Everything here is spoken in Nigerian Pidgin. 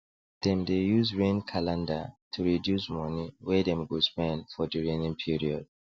dem dey use rain calender to reduce money wey dem go spend for di raining period